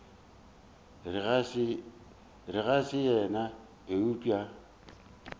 re ga se yena eupša